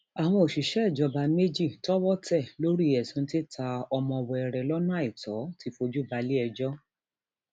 àwọn òṣìṣẹ ìjọba méjì tọwọ tẹ lórí ẹsùn títa ọmọ wẹrẹ lọnà àìtọ ti fojú balẹẹjọ